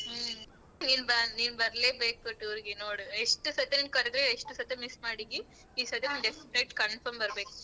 ಹ್ಮ ನೀನ್ ಬ ನೀನ್ ಬರ್ಲೇಬೇಕು tour ಗೆ ನೋಡು ಎಷ್ಟು ಸತಿ ನಿನ್ ಕರ್ದ್ರು ಎಷ್ಟು ಸತಿ miss ಮಾಡಿದಿ. confirm ಬರ್ಬೇಕು.